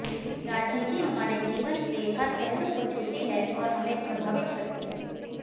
राजनीति हमारे जीवन के हर पहलू को छूती है और हमें प्रभावित करती है